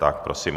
Tak prosím.